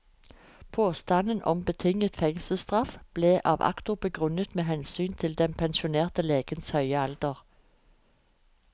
Påstanden om betinget fengselsstraff ble av aktor begrunnet med hensynet til den pensjonerte legens høye alder.